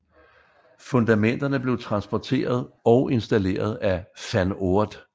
Fundamenterne blev transporteret og installeret af Van Oord